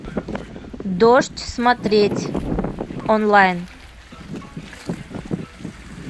дождь смотреть онлайн